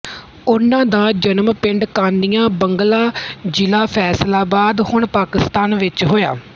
ਉਹਨਾਂ ਦਾ ਜਨਮ ਪਿੰਡ ਕਾਨੀਆ ਬੰਗਲਾ ਜ਼ਿਲ੍ਹਾ ਫੈਸਲਾਬਾਦ ਹੁਣ ਪਾਕਿਸਤਾਨ ਵਿੱਚ ਹੋਇਆ